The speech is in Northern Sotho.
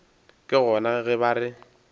ke gona ge ba re